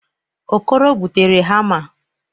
Okoro butere hamma.